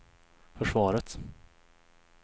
försvaret